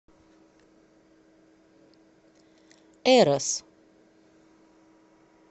эрос